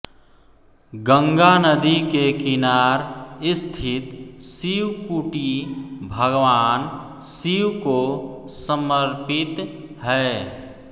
गंगा नदी के किनार स्थित शिवकुटी भगवान शिव को समर्पित है